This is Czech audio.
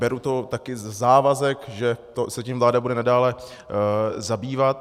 Beru to taky ze závazek, že se tím vláda bude nadále zabývat.